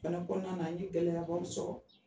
Bana kɔnɔna an ye gɛlɛya baw sɔrɔ.